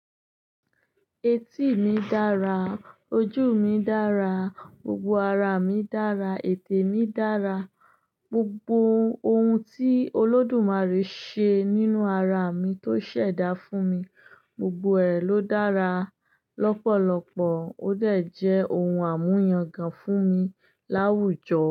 Etí mi dára, ojú mi dára, gbogbo ara mi dára, ètè mi dára, gbogbo ohun tí Olódùmarè ṣe nínú ara mi tó ṣẹ̀dá fún mi, gbogbo ẹ̀ ló dára lọ́pọ̀lọpọ̀, ó dẹ jẹ́ ohun àmúyangàn fún mi láwùjọ.